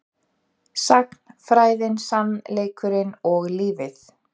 Sagnfræðin, sannleikurinn og lífið